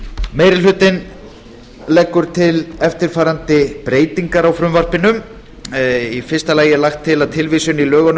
meiri hlutinn leggur til eftirfarandi breytingar á frumvarpinu í fyrsta lagi er lagt til að tilvísun í lögunum